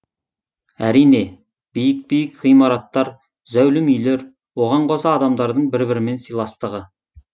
әрине биік биік ғимараттар зәулім үйлер оған қоса адамдардың бір бірімен сыйластығы